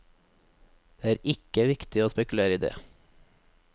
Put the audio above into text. Det er ikke viktig å spekulere i det.